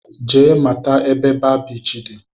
Jee mata ebe baa biichi dị!